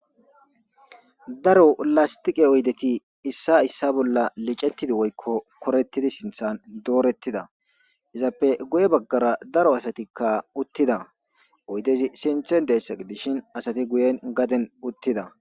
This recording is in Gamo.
Daro lastiqe oydeki issa issa bolla licettidi woykko korettidi sinthan doorettida izappe goye baggara daro asatikka uttida oydezi sinthe dessaqidishin asati guyen gaden uttida.